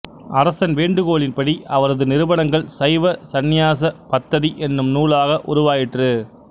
அரசன் வேண்டுகோளின்படி அவரது நிருபனங்கள் சைவ சந்நியாச பத்ததி என்னும் நூலாக உருவாயிற்று